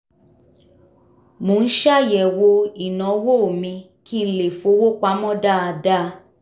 mo ń ṣàyẹ̀wò ìnáwó mi kí n lè fowó pamọ́ dáadáa